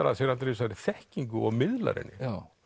að sér allri þessari þekkingu og miðlar henni